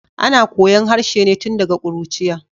Ana koyon harshe ne tun daga kuruciya.